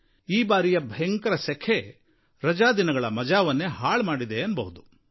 ಆದರೆ ಈ ಬಾರಿಯ ಭಯಂಕರ ಸೆಖೆ ರಜಾದಿನಗಳ ಮಜಾವನ್ನೇ ಹಾಳು ಮಾಡಿದೆ ಅನ್ನಬಹುದು